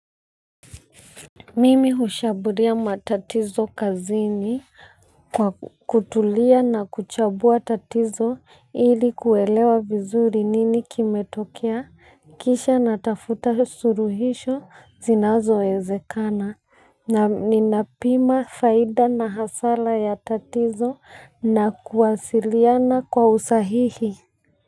Mimi ushaburia matatizo kazini kwa kutulia na kuchambua tatizo ili kuelewa vizuri nini kimetokia kisha natafuta suluhisho zinazoezekana na ninapima faida na hasara ya tatizo na kuwasiliana kwa usahihi.